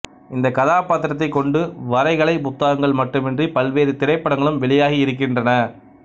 இந்தக் கதாப்பாத்திரத்தைக் கொண்டு வரைகலைப் புத்தகங்கள் மட்டுமின்றி பல்வேறு திரைப்படங்களும் வெளியாகி இருக்கின்றன